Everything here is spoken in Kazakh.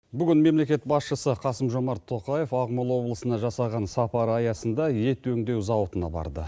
бүгін мемлекет басшысы қасым жомарт тоқаев ақмола облысына жасаған сапары аясында ет өңдеу зауытына барды